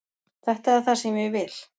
Þetta er það sem ég vil.